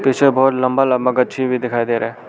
पीछे बहोत लंबा लंबा गच्छी भी दिखाई दे रहा--